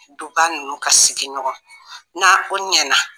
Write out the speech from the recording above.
Duba ninnu ka sigiɲɔgɔn na o ɲɛna